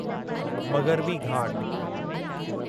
मग़रबी घाट